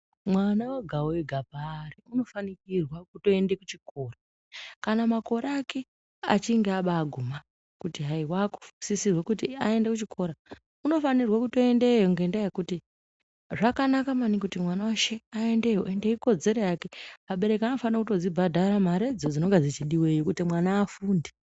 Mwana wega wega paari unofanikirwa kuti aenda kuchikora, kana makore ake achinge aba aguma kuti hai wakusisirwa kuti hai wakuenda kuchikora, unofanirwa kutoendeyo ngendaa yekuti zvakanaka maningi kuti mwana weshe aendeyo ende ikodzero yake, abereki anotofanira kudzibhadhara maredzo dzinenge dzechidiwa kuti mwana afunde.